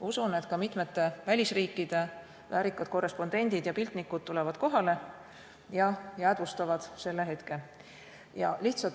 Usun, et ka mitmete välisriikide väärikad korrespondendid ja piltnikud tulevad kohale ja jäädvustavad selle hetke.